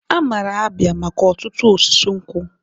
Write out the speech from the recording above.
Amara Abia maka otutu osisi nkwu.